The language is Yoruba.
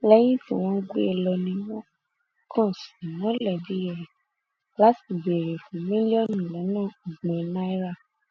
lẹyìn tí wọn gbé e lọ ni wọn kàn sí mọlẹbí rẹ láti béèrè fún mílíọnù lọnà ọgbọn náírà